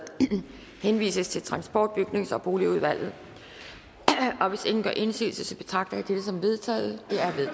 henvises til transport bygnings og boligudvalget hvis ingen gør indsigelse betragter jeg det som vedtaget